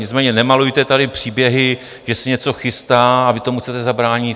Nicméně nemalujte tady příběhy, že se něco chystá a vy tomu chcete zabránit.